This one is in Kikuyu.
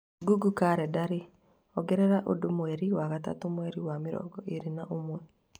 Google kalendarĩ ongerera ũndũ mweri wa gatatũ mweri wa mĩrongo ĩĩrĩ na ũmwe